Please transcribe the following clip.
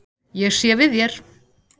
Ég sé við þér.